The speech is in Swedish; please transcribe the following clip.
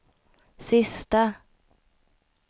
sista